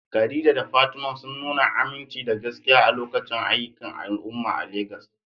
Khadija da Fatima sun nuna aminci da gaskiya a lokacin aikin al'umma a Legas.